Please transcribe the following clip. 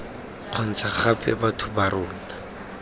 kgontsha gape batho ba rona